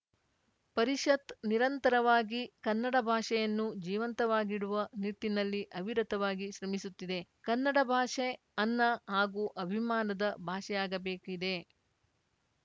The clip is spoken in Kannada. ಪರಿಷತ್‌ ನಿರಂತರವಾಗಿ ಕನ್ನಡ ಭಾಷೆಯನ್ನು ಜೀವಂತವಾಗಿಡುವ ನಿಟ್ಟಿನಲ್ಲಿ ಅವಿರತವಾಗಿ ಶ್ರಮಿಸುತ್ತಿದೆ ಕನ್ನಡ ಭಾಷೆ ಅನ್ನ ಹಾಗೂ ಅಭಿಮಾನದ ಭಾಷೆಯಾಗಬೇಕಿದೆ